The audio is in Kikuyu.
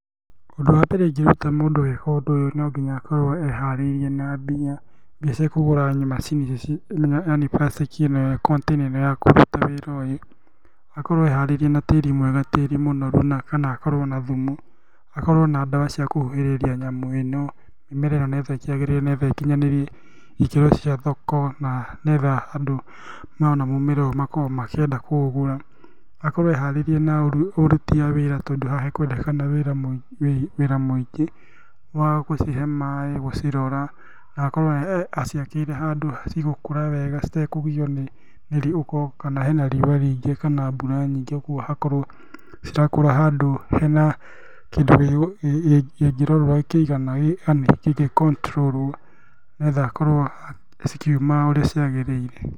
Ũndũ wa mbere ingĩruta mũndũ gũika ũndũ ũyũ no nginya akorwo eharĩrĩĩrie na mbia, mbia cia kũgũra macini ici yaani plastic ĩki ĩno container ĩno ya kũruta wĩra ũyũ. Akorwo eharĩirie na tĩri mwega, tĩri mũnoru na kana akorwo na thumu, akorwo na ndawa cia kũhuhĩrĩria nyamũ ĩno. Mĩmera ĩno nĩgetha ĩkinyanĩrie ikĩro cia thoko na nĩgetha andũ mona mũmera ũyũ makorwo makĩenda kũũgũra. Akorwo eharĩirie na ũruti a wĩra tondũ haha hekwendekana wĩra mũingĩ, wa gũcihe maĩ, gũcirora, na akorwo aciakĩire handũ cigũkũra wega citekũgio nĩ riuwa kana hena riuko rĩingĩ kana mbura nyingĩ, kĩoguo hakorwo cirakũra handũ hena ikĩro iri ingĩigana, yaani handũ hangĩcontrũrwo nĩgetha akorwo cikiuma ũrĩa kwagĩrĩire.